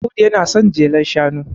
Audu yana son jelar shanu